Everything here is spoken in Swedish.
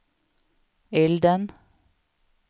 elden